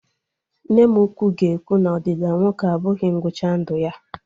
Nne m ukwu ga-ekwu na Ọdịda nwoke abụghị ngwụcha ndụ ya